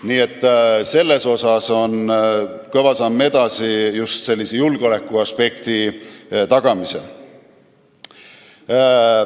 Nii et siin on kõva samm edasi astutud just julgeolekuaspekti tagamisel.